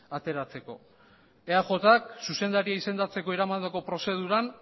ateratzeko eajk zuzendaria izendatzeko eramandako prozeduran